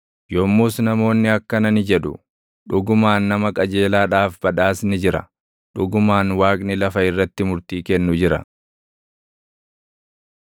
Yommus namoonni akkana ni jedhu; “Dhugumaan nama qajeelaadhaaf badhaasni jira; dhugumaan Waaqni lafa irratti murtii kennu jira.”